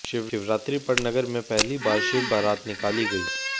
शिवरात्रि पर नगर में पहली बार शिव बरात निकाली गई